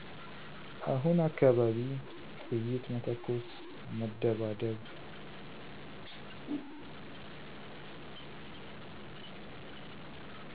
አሁነ አካባቢ ጥይት መተኮስ መደባደብ